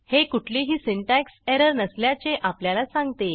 हे कुठलीही syntax error नसल्याचे आपल्याला सांगते